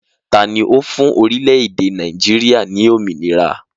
Taàní ó fún orílẹ̀ èdè Nàìjíríà ni òmìnira?